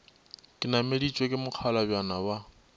ke nameditšwe ke mokgalabjana wa